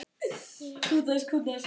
Þín Gerður.